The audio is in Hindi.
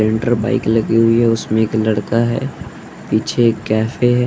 इंटर बाइक लगी हुई है उसमें एक लड़का है पीछे एक कैफे है।